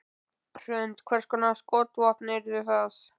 Hrund: Hvers konar skotvopn yrðu það?